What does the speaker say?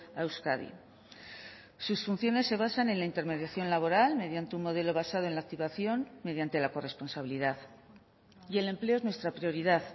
a euskadi sus funciones se basan en la intermediación laboral mediante un modelo basado en la activación mediante la corresponsabilidad y el empleo es nuestra prioridad